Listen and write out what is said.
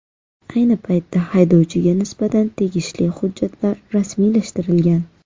Ayni paytda haydovchiga nisbatan tegishli hujjatlar rasmiylashtirilgan.